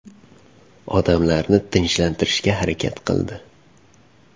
Odamlarni tinchlantirishga harakat qildi.